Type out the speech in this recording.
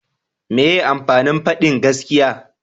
meye amfanin fadin gaskiya?